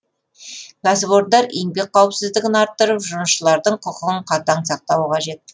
кәсіпорындар еңбек қауіпсіздігін арттырып жұмысшылардың құқығын қатаң сақтауы қажет